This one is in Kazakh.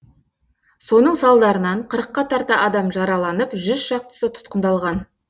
соның салдарынан қырыққа тарта адам жараланып жүз шақтысы тұтқындалған